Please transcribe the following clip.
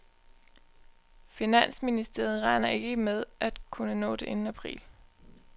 Finansministeriet regner ikke med kunne nå det inden april.